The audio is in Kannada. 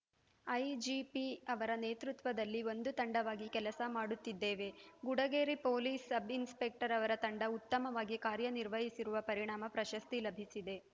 ಐಜಿಪಿ ಅವರ ನೇತೃತ್ವದಲ್ಲಿ ಒಂದು ತಂಡವಾಗಿ ಕೆಲಸ ಮಾಡುತ್ತಿದ್ದೇವೆ ಗುಡಗೇರಿ ಪೊಲೀಸ್‌ ಸಬ್‌ಇನ್ಸ್‌ಪೆಕ್ಟರ್‌ ಅವರ ತಂಡ ಉತ್ತಮವಾಗಿ ಕಾರ್ಯ ನಿರ್ವಹಿಸಿರುವ ಪರಿಣಾಮ ಪ್ರಶಸ್ತಿ ಲಭಿಸಿದೆ